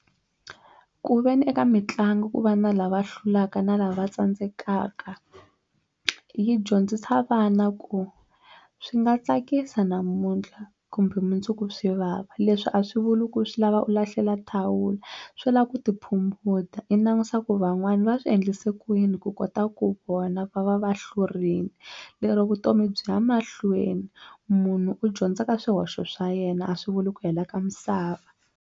Ku veni eka mitlangu ku va na lava hlulaka na lava tsandzekaka yi dyondzisa vana ku swi nga tsakisa namuntlha kumbe mundzuku swi vava leswi a swi vuli ku swi lava u lahlela thawula swi lava ku ti phumunda i langusa ku van'wani va swi endlise kuyini ku kota ku vona va va va hlurile lero vutomi byi ya mahlweni munhu u dyondza ka swihoxo swa yena a swi vuli ku hela ka misava.